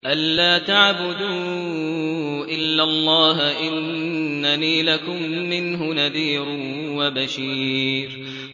أَلَّا تَعْبُدُوا إِلَّا اللَّهَ ۚ إِنَّنِي لَكُم مِّنْهُ نَذِيرٌ وَبَشِيرٌ